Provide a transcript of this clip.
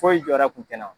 Foyi jɔ kun tɛ na